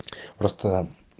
просто